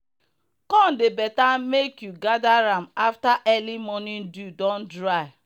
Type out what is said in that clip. corn dey better make you gather am after early morning dew don dry.